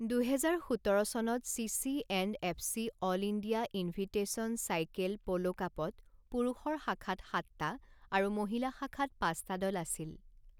দুহেজাৰ সোতৰ চনত CC and FC all India invitation cycle polo কাপত পুৰুষৰ শাখাত সাতটা আৰু মহিলা শাখাত পাঁচটা দল আছিল।